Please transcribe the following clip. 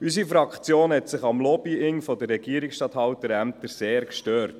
Unsere Fraktion hat sich am Lobbying der Regierungsstatthalterämter sehr gestört.